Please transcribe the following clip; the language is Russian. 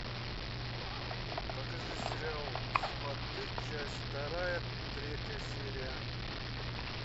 покажи сериал сваты часть вторая третья серия